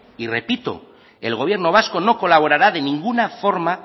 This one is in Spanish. y repito el gobierno vasco no colaborará de ninguna forma